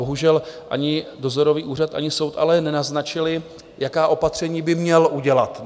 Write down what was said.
Bohužel ani dozorový úřad, ani soud ale nenaznačily, jaká opatření by měl udělat.